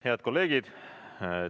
Head kolleegid!